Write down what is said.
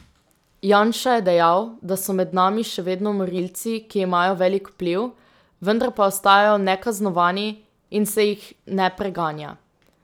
Janša je dejal, da so med nami še vedno morilci, ki imajo velik vpliv, vendar pa ostajajo nekaznovani in se jih ne preganja.